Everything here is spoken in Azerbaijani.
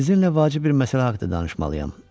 Sizinlə vacib bir məsələ haqqında danışmalıyam.